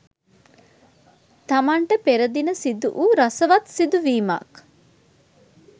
තමන්ට පෙරදින සිදුවූ රසවත් සිදුවීමක්